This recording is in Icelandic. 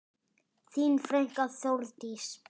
Þín frænka, Þórdís.